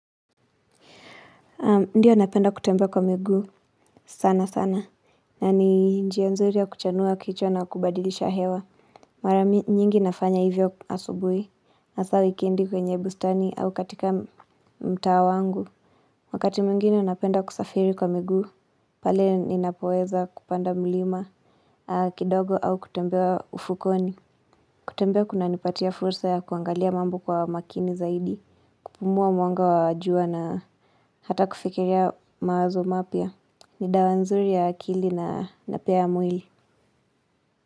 Ndiyo napenda kutembea kwa miguu sana sana na ni njia nzuri ya kuchanua kichwa na kubadilisha hewa. Mara nyingi nafanya hivyo asubuhi hasa wikendi kwenye bustani au katika mtaa wangu. Wakati mwingine napenda kusafiri kwa miguu pale ninapoweza kupanda mlima kidogo au kutembea ufukweni. Kutembea kunanipatia fursa ya kuangalia mambo kwa umakini zaidi. Kupumua mwanga wa jua na hata kufikiria mawazo mapya ni dawa nzuri ya akili na pia mwili.